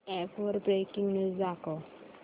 app वर breaking news दाखव